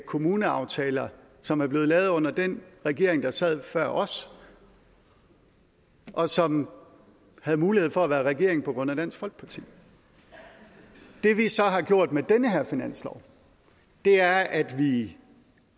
kommuneaftaler som er blevet lavet under den regering der sad før os og som havde mulighed for at være regering på grund af dansk folkeparti det vi så har gjort med den her finanslov er at vi